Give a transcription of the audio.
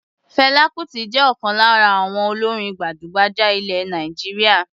Fẹlá Kutì jẹ́ ọ̀kan lára àwọn olórin gbajúgbajà ilẹ̀ Nàìjíríà.